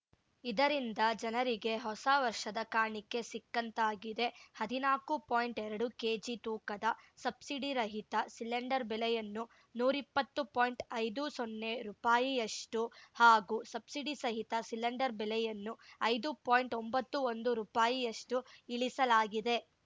ಇದರಿಂದ ಜನರಿಗೆ ಹೊಸ ವರ್ಷದ ಕಾಣಿಕೆ ಸಿಕ್ಕಂತಾಗಿದೆ ಹದಿನಾಕು ಪಾಯಿಂಟ್ಎರಡು ಕೇಜಿ ತೂಕದ ಸಬ್ಸಿಡಿರಹಿತ ಸಿಲೆಂಡರ್‌ ಬೆಲೆಯನ್ನು ನೂರಿಪ್ಪತ್ತು ಪಾಯಿಂಟ್ಐದು ಸೊನ್ನೆ ರುಪಾಯಿಯಷ್ಟುಹಾಗೂ ಸಬ್ಸಿಡಿಸಹಿತ ಸಿಲೆಂಡರ್‌ ಬೆಲೆಯನ್ನು ಐದು ಪಾಯಿಂಟ್ಒಂಬತ್ತು ಒಂದು ರುಪಾಯಿಯಷ್ಟುಇಳಿಸಲಾಗಿದೆ